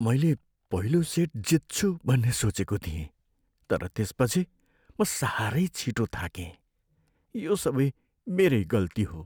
मैले पहिलो सेट जित्छु भन्ने सोचेको थिएँ तर त्यसपछि म साह्रै छिटो थाकेँ। यो सबै मेरै गल्ती हो।